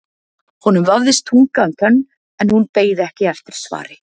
Honum vafðist tunga um tönn en hún beið ekki eftir svari.